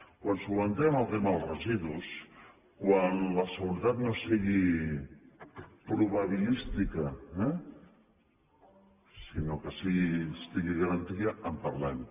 quan solucionem el tema dels residus quan la seguretat no sigui probabilística sinó que estigui garantida en parlem